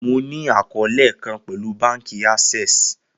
Mo ni akọọlẹ kan pẹlu banki access